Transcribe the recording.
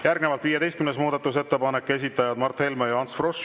Järgnevalt 15. muudatusettepanek, esitajad Mart Helme ja Ants Frosch.